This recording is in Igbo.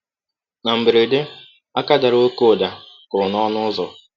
Na mberede, aka dara ọké ụda kụrụ n’ọnụ ụzọ.